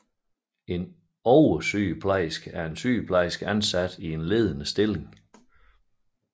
En oversygeplejerske er en sygeplejerske ansat i en ledende stilling